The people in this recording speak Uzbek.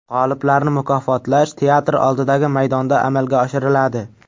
G‘oliblarni mukofotlash teatr oldidagi maydonda amalga oshiriladi.